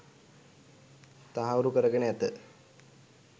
තහවුරු කරගෙන ඇත